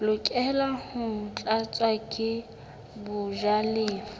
lokela ho tlatswa ke bajalefa